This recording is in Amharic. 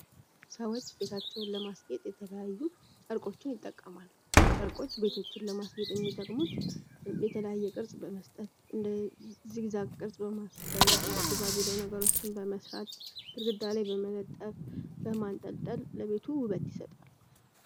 ሰዎች ቤታቸውን ለማስጌጥ የተለያዩ ጨርቆችን ይጠቀማሉ። ጨርቆች ቤቶችን ለማስጌጥ የሚጠቅሙት የተለያዩ የቅርፅ በመስጠት ፣እንደ ዚግዛግ ቅርጽ በማስደርግ ፣እንደ ቢራቢሮ ነገሮችን በመስራት፣ ግድግዳ ላይ በመለጠፍ ፣በማንጠልጠል ለቤቱ ውበት ይሰጣሉ።